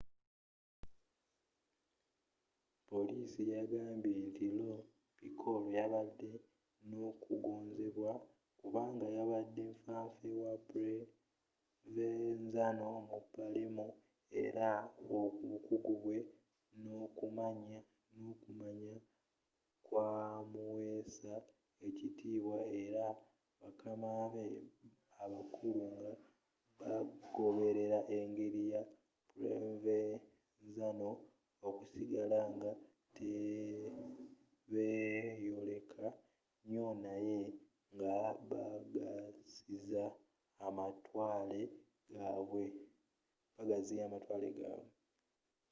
poliisi yagambye nti lo piccolo yabadde n'okugonzebwa kubanga yabadde nfa nfe wa provenzano mu palermo era obukuggu bwe n'okumanya kwamuweesa ekitibwa eri bakama be abakulu nga bagoberera engeri ya provenzano okusigala nga tebeyoleka nyo naye nga bagaziya amatwale gabwe